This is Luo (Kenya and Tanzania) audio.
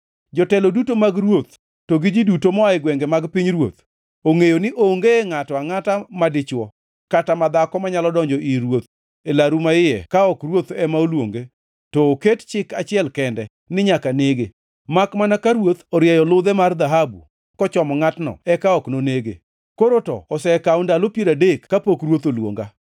“Jotelo duto mag ruoth to gi ji duto moa e gwenge mag pinyruoth, ongʼeyo ni onge ngʼato angʼata madichwo kata ma dhako manyalo donjo ir ruoth e laru maiye ka ok ruoth ema oluonge to oket chik achiel kende ni nyaka nege. Makmana ka ruoth orieyo ludhe mar dhahabu kochomo ngʼatno eka ok nonege. Koro to osekawo ndalo piero adek kapok ruoth oluonga.”